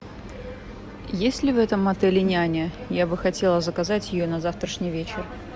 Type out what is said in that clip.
есть ли в этом отеле няня я бы хотела заказать ее на завтрашний вечер